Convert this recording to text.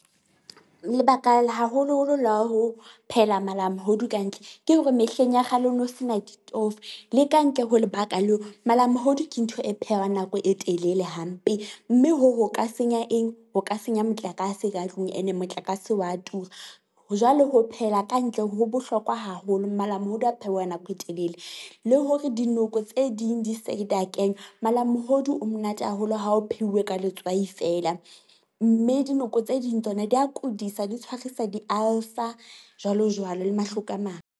Lebaka la haholoholo la ho phehela malamohodu kantle ke hore mehleng ya kgale ho no se na ditofo. Le ka ntle ho lebaka leo, malamohodu ke ntho e phehwang nako e telele hampe, mme hoo ho ka senya eng ho ka senya motlakase ka tlung ene motlakase wa tura. Jwale ho phehela ka ntle ho bohlokwa haholo. Malamohodu a phehwa nako e telele le hore dinoko tse ding di da kenywa. Malamohodu o monate haholo ha o pheuwe ka letswai feela, mme dinoko tse ding tsona di a kudisa, di tshwarisa di-ulcer, jwalo jwalo le mahloko a mang.